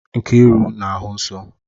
Nkiru na-ahụ nsọ?